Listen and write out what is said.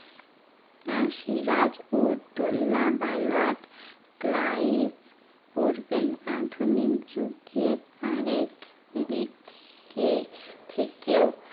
আর সিরাজুদ্দোল্লা বা lord Clive পড়বেন আধুনিক যুগে আরেক দিককে থেকেও